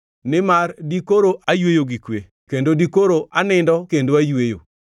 Nimar dikoro ayweyo gi kwe; kendo dikoro anindo kendo ayweyo,